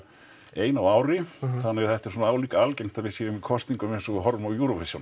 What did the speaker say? ein á ári þannig að þetta er svona álíka algengt að við séum í kosningum eins og við horfum á Eurovision